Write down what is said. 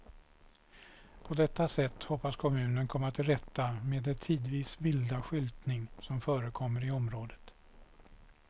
På detta sätt hoppas kommunen komma till rätta med det tidvis vilda skyltning som förekommer i området.